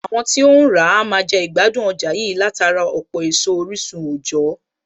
Àwọn tí óhún ràá a máa jẹ ìgbádùn ọjà yìí látara ọ̀pọ̀ èso orísun òjọ̀ọ́